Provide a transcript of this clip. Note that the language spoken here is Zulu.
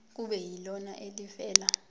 kube yilona elivela